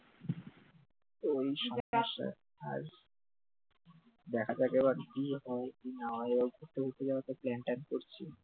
ওই circus টায় আর দেখা যাক এবার কি হয় কি না হয় plan টা করছি